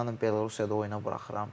İnanın Belorussiyada oyuna buraxıram.